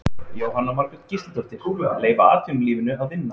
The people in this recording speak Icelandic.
Jóhanna Margrét Gísladóttir: Leyfa atvinnulífinu að vinna?